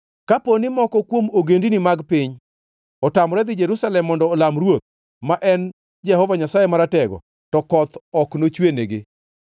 Kapo ni moko kuom ogendini mag piny otamore dhi Jerusalem mondo olam Ruoth, ma en Jehova Nyasaye Maratego, to koth ok nochwenigi.